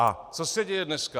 A co se děje dneska?